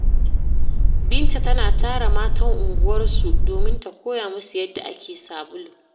Binta tana tara matan unguwarsu domin ta koya musu yadda ake sabulu.